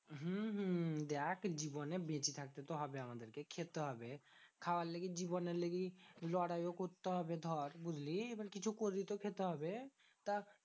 হম হম দেখ জীবনে বেঁচে থাকতে তো হবে আমাদেরকে। খেতে হবে খাওয়ার লেগেই জীবনের লেগেই লড়াইও করতে হবে ধর, বুঝলি? এবার কিছু করেই তো খেতে হবে। তা